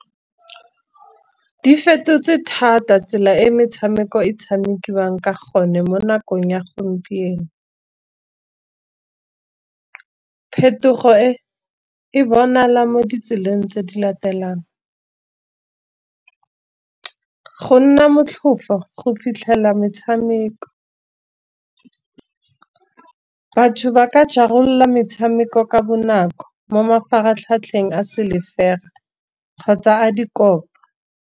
Di fetotse thata tsela e metshameko e tshamekiwang ka gone, mo nakong ya gompieno. Phetogo e e bonala mo ditseleng tse di latelang, go nna motlhofo go fitlhela metshameko. Batho ba ka jarolola metshameko ka bonako mo mafaratlhatlheng a silver kgotsa a dikopa.